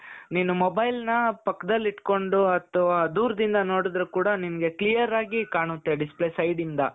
ನೀನು mobileನ ಪಕ್ಕದಲ್ಲಿ ಇಟ್ಕೊಂಡು ಅಥವಾ ದೂರ್ದಿಂದ ನೋಡುದ್ರು ಕೂಡ ನಿನಗೆ clear ಆಗಿ ಕಾಣುತ್ತೆ display side ಇಂದ.